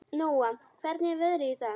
Nóa, hvernig er veðrið í dag?